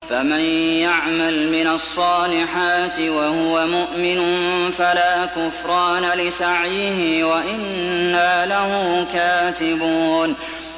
فَمَن يَعْمَلْ مِنَ الصَّالِحَاتِ وَهُوَ مُؤْمِنٌ فَلَا كُفْرَانَ لِسَعْيِهِ وَإِنَّا لَهُ كَاتِبُونَ